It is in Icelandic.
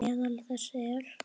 Meðal þess er